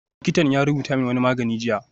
Likitan ya rubuto min wani magani jiya